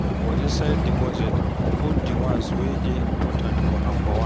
For inside di budget, put di ones wey dey important for number one